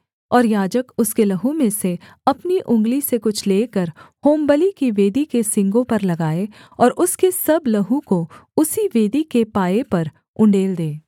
और याजक उसके लहू में से अपनी उँगली से कुछ लेकर होमबलि की वेदी के सींगों पर लगाए और उसके सब लहू को उसी वेदी के पाए पर उण्डेल दे